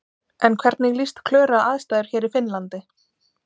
En hvernig líst Klöru á aðstæður hér í Finnlandi?